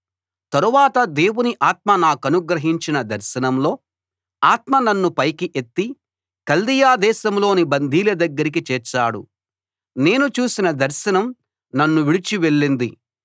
తరువాత దేవుని ఆత్మ నాకనుగ్రహించిన దర్శనంలో ఆత్మ నన్ను పైకి ఎత్తి కల్దీయ దేశంలోని బందీల దగ్గరికి చేర్చాడు నేను చూసిన దర్శనం నన్ను విడిచి వెళ్ళింది